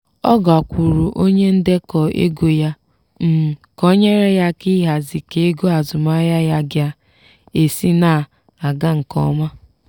ọ gakwuuru onye ndekọ ego ya um ka o nyere ya aka ịhazi ka ego azụmahịa ya ga-esi na-aga nke ọma.